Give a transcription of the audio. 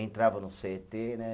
Entrava no cê tê, né?